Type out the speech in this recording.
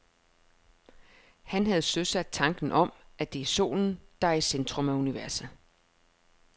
Han havde søsat tanken om, at det er solen, der er i centrum af universet.